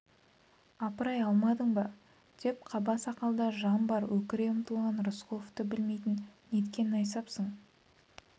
апырай алмадың ба деп қаба сақалда да жан бар өкіре ұмтылған рысқұловты білмейтін неткен найсапсың